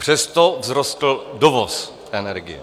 Přesto vzrostl dovoz energie.